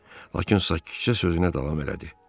Lakin sakitcə sözünə davam elədi.